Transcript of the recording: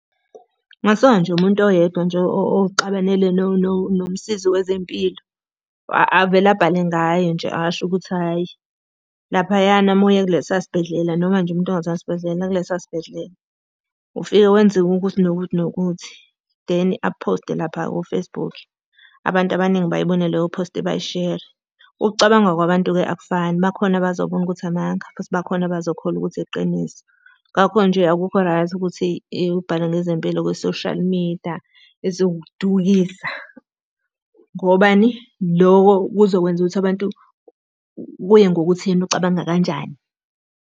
Kungasuka nje umuntu oyedwa nje ozixabanele nomsizi wezempilo. Avele abhale ngaye nje asho ukuthi hhayi laphayana uma uye kulesiya sibhedlela, noma nje umuntu engasazi . Ufike wenziwe ukuthi nokuthi nokuthi, then aphoste lapha ko-Facebook. Abantu abaningi bayibone leyoposti bayishere. Ukucabanga kwabantu-ke akufani, bakhona abazobona ukuthi amanga, futhi bakhona abazokholwa ukuthi iqiniso. Ngakho nje akukho right ukuthi ubhale ngezempilo kwi-social media. eziwukudukisa. Ngobani? Loko kuzokwenza ukuthi abantu, kuye ngokuthi yena ucabanga kanjani.